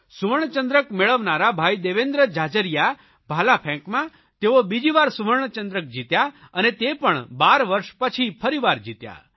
સુવર્ણચંદ્રક મેળવનારા ભાઇ દેવેન્દ્ર ઝાઝરિયા ભાલાફેંકમાં તેઓ બીજીવાર સુવર્ણચંદ્રક જીત્યા અને તે પણ 12 વર્ષ પછી ફરીવાર જીત્યા